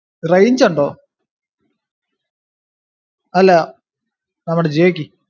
range ഉണ്ടോ അല്ലാ നമ്മുടെ ജിയോക്ക്